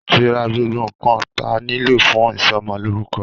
Àti rà gbogbo ńkan tà nílò fún ìsọmọ lórúkọ